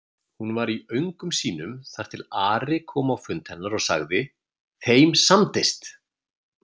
Hún var í öngum sínum þar til Ari kom á fund hennar og sagði:-Þeim samdist!